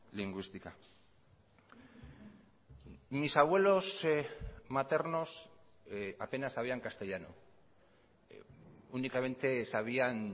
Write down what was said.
lingüística mis abuelos maternos apenas sabían castellano únicamente sabían